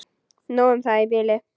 Nóg um það í bili.